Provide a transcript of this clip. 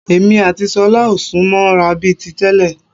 Èmi àti ṣọlá ò sún mọ́ ra bíi ti tẹ́lẹ̀